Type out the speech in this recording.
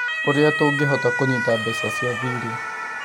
ũrĩa tũngĩhota kũnyĩta mbeca cia thiirĩ